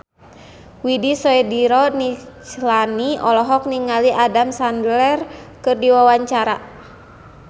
Widy Soediro Nichlany olohok ningali Adam Sandler keur diwawancara